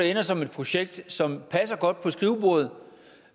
ender som et projekt som passer godt på skrivebordet